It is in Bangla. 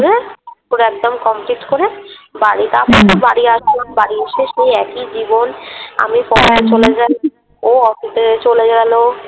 পুরো একদম Complete করে বাড়ি তারপরেতেও বাড়ি আসলাম । বাড়ি এসে সেই একই জীবন আমি পড়াতে যাই, ও অফিসে চলে গেল